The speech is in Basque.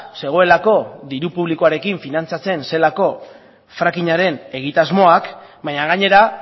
zegoelako diru publikoarekin finantzatzen zelako frackingaren egitasmoak baina gainera